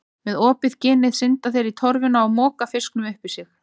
Með opið ginið synda þeir í torfuna og moka fiskinum upp í sig.